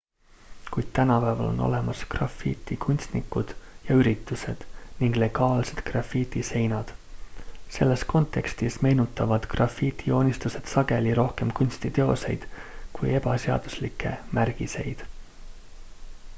kuid tänapäeval on olemas grafitikunstnikud ja üritused ning legaalsed grafitiseinad selles kontekstis meenutavad grafitijoonistused sageli rohkem kunstiteoseid kui ebaseaduslikke märgiseid